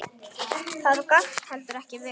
Það gafst heldur ekki vel.